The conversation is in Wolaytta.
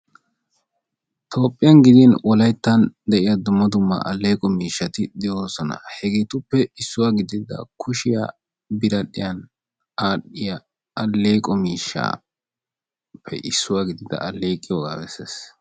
Toophiyan gidin Wolaytta dumma dumma aleeqo miishshati de'oosona; hegetuppe issuwa gidida kushiyaa biradhdhiyaan aleeqo miishshappe issuwaa gidida aleeqiyooga beessees.